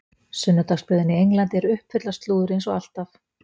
Sunnudagsblöðin í Englandi eru uppfull af slúðri eins og alltaf.